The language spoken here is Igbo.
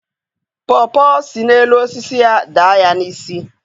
Pọọ pọọ si n'elu osisi ya daa ya n'isi.